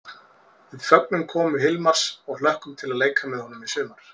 Við fögnum komu Hilmars og hlökkum til að leika með honum í sumar!